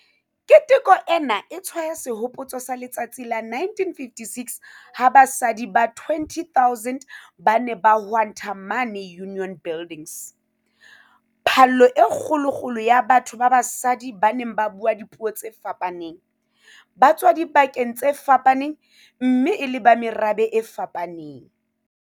Keteko ena e tshwaya sehopotso sa letsatsi la 1956 ha basadi ba 20 000 ba ne ba hwanta mane Union Buildings - phallo e kgolokgolo ya batho ba basadi ba neng ba bua dipuo tse fapaneng, ba tswa dibakeng tse fapaneng mme e le ba merabe e fapaneng.